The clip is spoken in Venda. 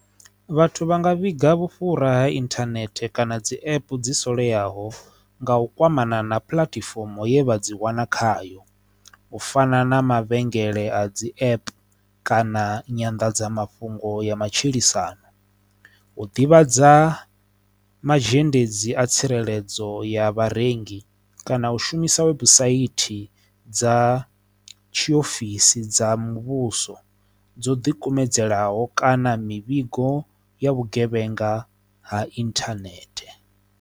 Vhathu vha nga vhiga vhufhura ha internet kana dzi app dzi salelaho nga u kwamana na puḽatifomo ye vha dzi wana khayo u fana na mavhengele a dzi app kana nyanḓadzamafhungo ya matshilisano u ḓivhadza mazhendedzi a tsireledzo ya vharengi kana u shumisa webusaithi dza tshiofisi dza muvhuso dzo dikumedzelaho kana mivhigo ya vhugevhenga ha internet.